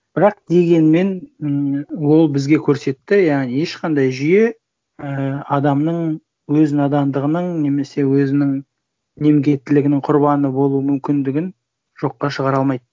бірақ дегенмен ммм ол бізге көрсетті яғни ешқандай жүйе і адамның өз надандығының немесе өзінің немкеттілігінің құрбаны болуы мүмкіндігін жоққа шығара алмайды